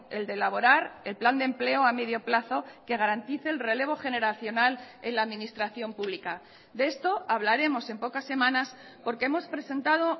el de elaborar el plan de empleo a medio plazo que garantice el relevo generacional en la administración pública de esto hablaremos en pocas semanas porque hemos presentado